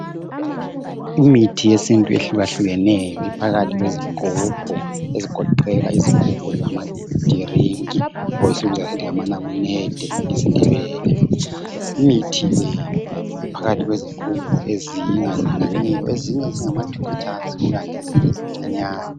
Imithi yesintu ehlukahlukeneyo iphakathi kwezigubhu ezigoqela izigubhu zamadrink or esikubiza sisithi nganamnede ngesindebele imithi le iphakathi kwezigubhu ezingalinganiyo ezinye zingama 2 Litres kukanti ezinye zincinyane